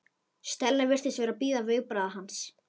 Stella virtist vera að bíða viðbragða hans.